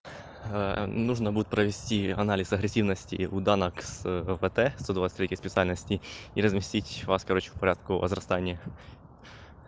нужно будет провести анализ агрессивности у дана кс вт сто двадцать третьей специальности и разместить вас короче в порядке возрастания